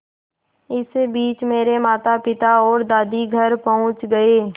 इसी बीच मेरे मातापिता और दादी घर पहुँच गए